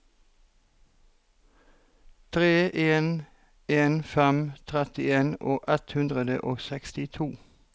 tre en en fem trettien ett hundre og sekstito